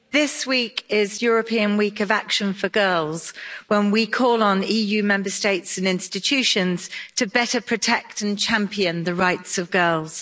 Mr President, this week is European Week of Action for Girls, when we call on EU Member States and institutions to better protect and champion the rights of girls.